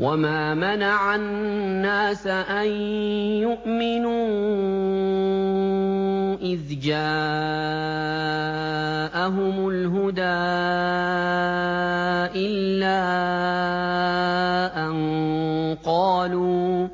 وَمَا مَنَعَ النَّاسَ أَن يُؤْمِنُوا إِذْ جَاءَهُمُ الْهُدَىٰ إِلَّا أَن قَالُوا